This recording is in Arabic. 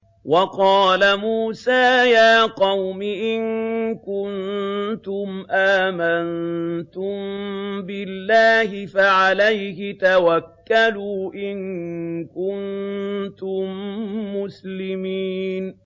وَقَالَ مُوسَىٰ يَا قَوْمِ إِن كُنتُمْ آمَنتُم بِاللَّهِ فَعَلَيْهِ تَوَكَّلُوا إِن كُنتُم مُّسْلِمِينَ